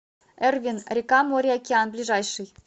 эрвин рекамореокеан ближайший